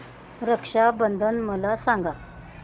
रक्षा बंधन मला सांगा